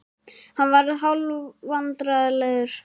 Hann varð hálfvandræðalegur.